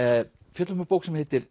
fjöllum um bók sem heitir